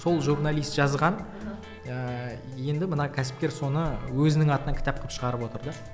сол журналист жазған ыыы енді мына кәсіпкер соны өзінің атынан кітап қылып шығарып отыр да